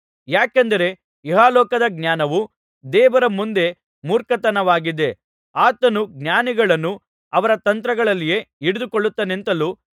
ಯಾಕೆಂದರೆ ಇಹಲೋಕದ ಜ್ಞಾನವು ದೇವರ ಮುಂದೆ ಮೂರ್ಖತನವಾಗಿದೆ ಆತನು ಜ್ಞಾನಿಗಳನ್ನು ಅವರ ತಂತ್ರಗಳಲ್ಲಿಯೆ ಹಿಡಿದುಕೊಳ್ಳುತ್ತಾನೆಂತಲೂ